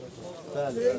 Bəli, bəli.